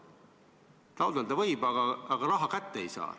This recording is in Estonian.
Taotleda võib, aga raha kätte ei saa.